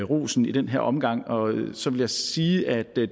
rosen i den her omgang og så vil jeg sige at